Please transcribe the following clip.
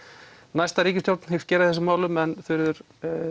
næsta ríkisstjórn hyggst gera í þessum málum en Þuríður